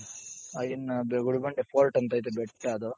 ಆ ಇನ್ನ ಗುಡಿಬಂಡೆ fort ಅಂತ ಐತೆ, ಬೆಟ್ಟ ಅದು.